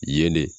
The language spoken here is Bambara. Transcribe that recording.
Ye ne